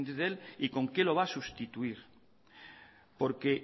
de él y con qué lo va a sustituir porque